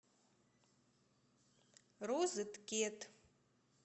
розеткед